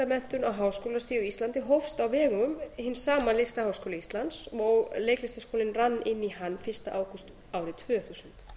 á háskólastigi á íslandi hófst á vegum hins sama listaháskóla íslands og leiklistarskólinn rann inn í hann fyrsta ágúst árið tvö þúsund